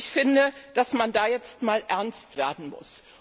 Ich finde, dass man da jetzt mal ernst werden muss.